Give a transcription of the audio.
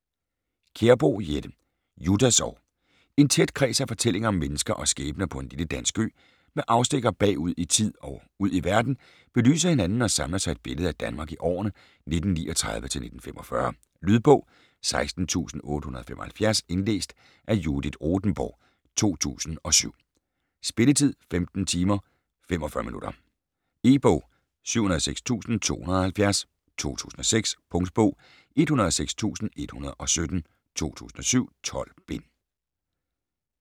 Kjærboe, Jette: Juttas år En tæt kreds af fortællinger om mennesker og skæbner på en lille dansk ø - med afstikkere bagud i tid og ud i verden - belyser hinanden og samler sig til et billede af Danmark i årene 1939-1945. Lydbog 16875 Indlæst af Judith Rothenborg, 2007. Spilletid: 15 timer, 45 minutter. E-bog 706270 2006. Punktbog 106117 2007. 12 bind.